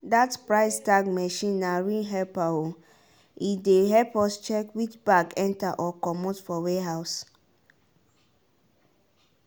that price tag machine na real helper o e dey help us check which bag enter or comot for warehouse